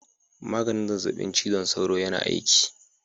Maganin zazzabin cizon sauron yana aiki.